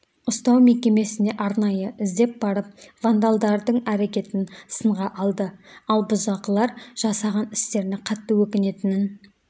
ұстау мекемесіне арнайы іздеп барып вандалдардың әрекетін сынға алды ал бұзақылар жасаған істеріне қатты өкінетінін